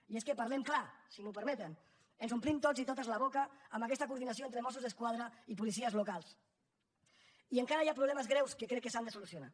i és que parlem clar si m’ho permeten ens omplim tots i totes la boca amb aquesta coordinació entre mossos d’esquadra i policies locals i encara hi ha problemes greus que crec que s’han de solucionar